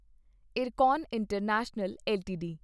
Ircon international LTD